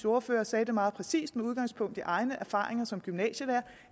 ordfører sagde det meget præcist med udgangspunkt i egne erfaringer som gymnasielærer